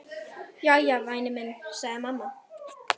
Jæja, væni minn, sagði mamma.